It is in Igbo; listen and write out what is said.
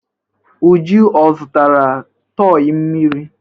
Uju ò zụtara tọị mmiri?